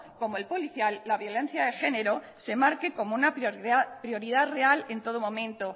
como el policial la violencia de género se marque como una prioridad real en todo momento